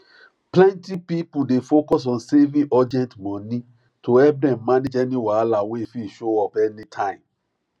plenty people dey focus on saving urgent money to help dem manage any wahala wey fit show up any time